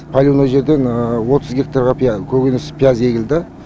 поливной жерден отыз гектарға көкөніс пияз егілді